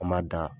An m'a da